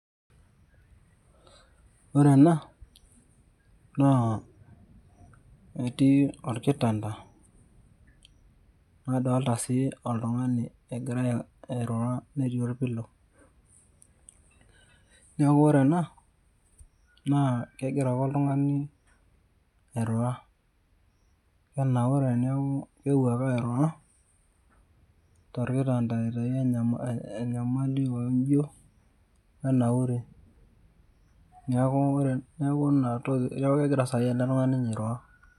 Ore ena, naa etii orkitanda, nadolta si oltung'ani egira airura netii olpilo. Neeku ore ena, naa kegira ake oltung'ani airura. Ketanaure neeku keewuo airura, torkitanda aitayu enyamali oojio, wenauri. Neeku inatoki neeku egira sai inye ele tung'ani airura.